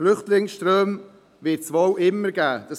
Flüchtlingsströme wird es wohl immer geben.